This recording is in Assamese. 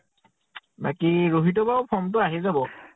বাকী ৰহিতৰ বাৰু form টো আহি যাব।